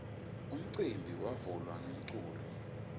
umcimbi wavula ngemaculo